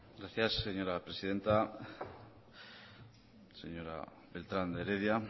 gracias señora presidenta señora beltrán de heredia